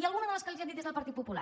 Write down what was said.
i alguna de les que els han dit des del partit popular